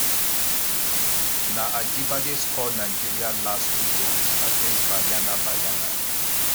na ajibade score nigeria last two goals against banyana banyana.